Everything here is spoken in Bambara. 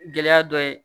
Gɛlɛya dɔ ye